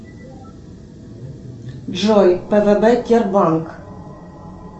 джой пвб кербанк